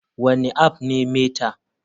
Wane app ne meta?